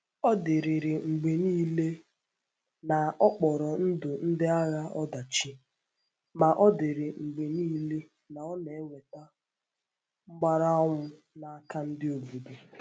Ọ̀ dịrịrị mgbe niile na ọ kpọrọ ndụ ndị agha ọdachi, ma ọ dịrị mgbe niile na ọ na-eweta mgbàrànwụ n’aka ndị obodo.